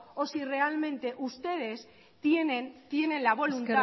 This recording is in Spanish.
o si realmente ustedes tienen la voluntad